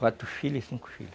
Quatro filhas e cinco filhos.